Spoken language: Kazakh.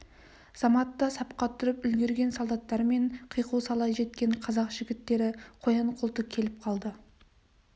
заматта сапқа тұрып үлгерген солдаттар мен қиқу сала жеткен қазақ жігіттері қоян-қолтық келіп қалды